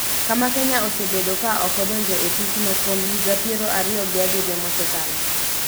kama Kenya osebedo ka ok odonjo e tichno kuom higa piero ariyo gi abiriyo mosekalo.